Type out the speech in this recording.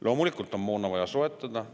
Loomulikult on moona vaja soetada.